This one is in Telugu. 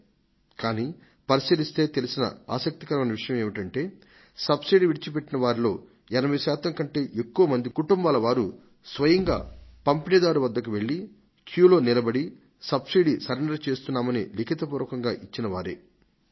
కానీ పరిశీలిస్తే తెలిసిన ఆసక్తికరమైన విషయం ఏమిటంటే సబ్సిడీని వద్దనుకున్న కోటి కుటుంబాలలోను 80 శాతం కంటే ఎక్కువ మంది పంపిణీదారు వద్దకు వెళ్లి వరుసలో నిలబడి మరీ తాము సబ్సిడీని సరెండర్ చేయదల్చుకొన్నామంటూ రాతపూర్వకంగా సమాచారమిచ్చారని అంచనా వేయడం జరిగింది